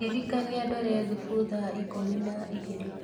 Ndirikania ndore thufu thaa ikũmi na igĩrĩ